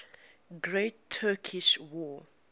great turkish war